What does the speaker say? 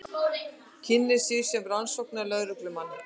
Kynnir sig sem rannsóknarlögreglumann.